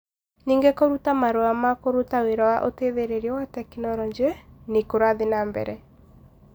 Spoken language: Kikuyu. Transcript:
Ningĩ kũruta marũa ma kũruta wĩra wa ũteithĩrĩrio wa tekinoronjĩ nĩ kũrathiĩ na mbere.